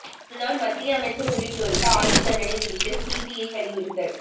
முன்னாள் மத்திய அமைச்சர் உள்ளிட்டோருக்கு ஆயுள் தண்டனை விதிக்க சிபிஐ வலியுறுத்தல்